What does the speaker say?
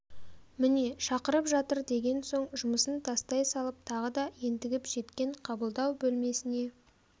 міне шақырып жатыр деген соң жұмысын тастай салып тағы да ентігіп жеткен қабылдау бөлмесіне